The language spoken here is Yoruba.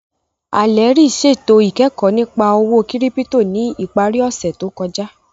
Alherí ṣẹtò ikẹkọ̀ nípà òwó kírípítò ní ìpàrí òṣè tó kọja